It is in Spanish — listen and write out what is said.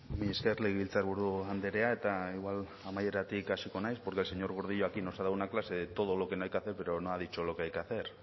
mila esker legebiltzarburu andrea eta igual amaieratik hasiko naiz porque el señor gordillo aquí nos ha dado una clase de todo lo que no hay que hacer pero no ha dicho lo que hay que hacer